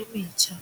e metjha.